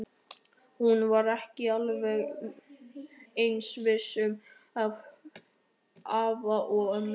Hún var ekki alveg eins viss um afa og ömmu.